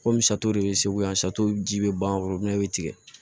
Komi sato de bɛ segu yan sa to ji bɛ ban foro bɛ tigɛ